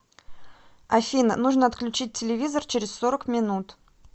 афина нужно отключить телевизор через сорок минут